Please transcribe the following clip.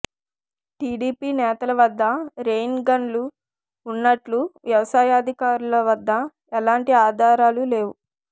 TDP నేతల వద్ద రెయిన్గన్లు ఉన్నట్లు వ్యవసాయాధికారుల వద్ద ఎలాంటి ఆధారాలు లేవు